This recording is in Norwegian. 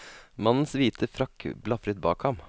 Mannens hvite frakk blafret bak ham.